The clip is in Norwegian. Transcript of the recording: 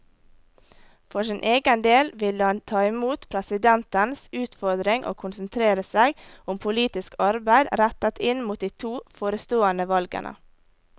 For sin egen del ville han ta imot presidentens utfordring og konsentrere seg om politisk arbeid rettet inn mot de to forestående valgene.